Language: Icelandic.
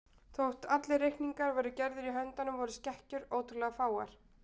Þótt allir reikningar væru gerðir í höndum voru skekkjur ótrúlega fáar.